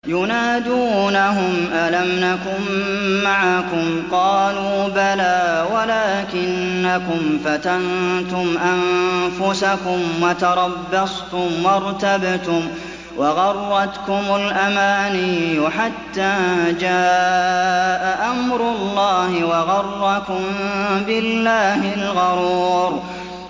يُنَادُونَهُمْ أَلَمْ نَكُن مَّعَكُمْ ۖ قَالُوا بَلَىٰ وَلَٰكِنَّكُمْ فَتَنتُمْ أَنفُسَكُمْ وَتَرَبَّصْتُمْ وَارْتَبْتُمْ وَغَرَّتْكُمُ الْأَمَانِيُّ حَتَّىٰ جَاءَ أَمْرُ اللَّهِ وَغَرَّكُم بِاللَّهِ الْغَرُورُ